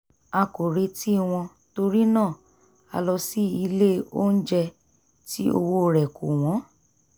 a kò retí wọn torí náà a lọ sí ilé onjẹ tí owó rẹ̀ kò wọ́n